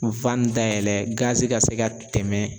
dayɛlɛ ka se ka tɛmɛ